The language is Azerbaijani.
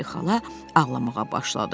Polli xala ağlamağa başladı.